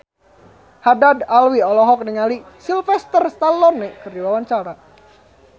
Haddad Alwi olohok ningali Sylvester Stallone keur diwawancara